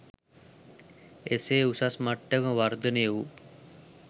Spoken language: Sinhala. එසේ උසස් මට්ටමට වර්ධනය වූ